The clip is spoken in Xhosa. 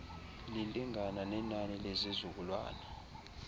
lilingana nenani lezizukulwana